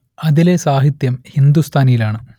അതിലെ സാഹിത്യം ഹിന്ദുസ്ഥാനിയിലാണ്